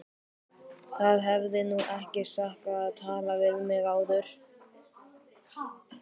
Það hefði nú ekki sakað að tala við mig áður!